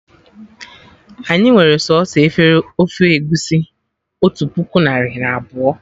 Anyị nwere sọsọ efere ofe egusi otu puku narị na abụọ